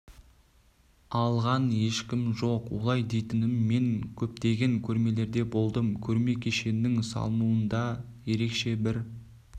алған ешкім жоқ олай дейтінім мен көптеген көрмелерде болдым көрме кешенінің салынуында да ерекше бір